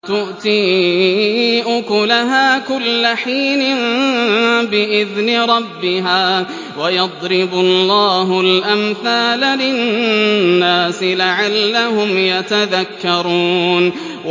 تُؤْتِي أُكُلَهَا كُلَّ حِينٍ بِإِذْنِ رَبِّهَا ۗ وَيَضْرِبُ اللَّهُ الْأَمْثَالَ لِلنَّاسِ لَعَلَّهُمْ يَتَذَكَّرُونَ